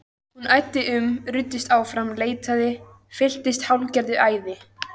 Hann æddi um, ruddist áfram, leitaði, fylltist hálfgerðu æði.